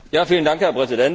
Herr Präsident!